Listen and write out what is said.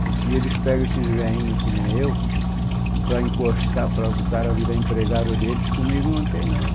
Porque eles pegam esses velhinhos que nem eu, para encostar, para o cara virar empregado deles, comigo não tem não.